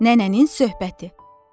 Nənənin söhbəti.